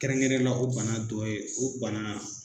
Kɛrɛnkɛrɛnla o banna dɔ ye o banna